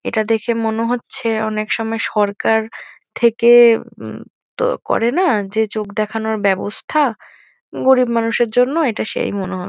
এটা দেখে মনে হচ্ছে অনেক সময় সরকার থেকে উম তো করে না? যে চোখ দেখানোর ব্যবস্থা গরীব মানুষের জন্য এটা সেই মনে হয়।